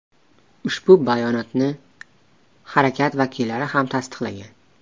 Ushbu bayonotni harakat vakillari ham tasdiqlagan.